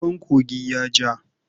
Ruwan kogin ya ja.